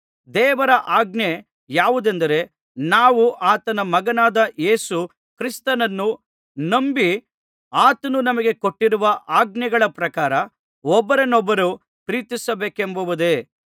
ದೇವರ ಆಜ್ಞೆ ಯಾವುದೆಂದರೆ ನಾವು ಆತನ ಮಗನಾದ ಯೇಸು ಕ್ರಿಸ್ತನನ್ನು ನಂಬಿ ಆತನು ನಮಗೆ ಕೊಟ್ಟಿರುವ ಆಜ್ಞೆಗಳ ಪ್ರಕಾರ ಒಬ್ಬರನ್ನೊಬ್ಬರು ಪ್ರೀತಿಸಬೇಕೆಂಬುದೇ